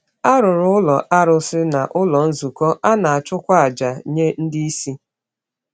A rụrụ ụlọ arụsị na ụlọ nzukọ, a na-achụkwa aja nye ndị isi.